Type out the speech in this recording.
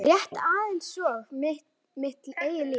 Þess vegna spyr ég þig.